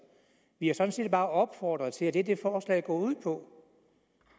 vi har sådan set bare opfordret til og det er det forslaget går ud på